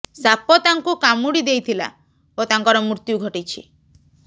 ସାପ ତାଙ୍କୁ କାମୁଡ଼ି ଦେଇଥିଲା ଓ ତାଙ୍କର ମୃତ୍ୟୁ ଘଟିଛି